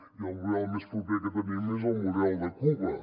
i el model més proper que tenim és el model de cuba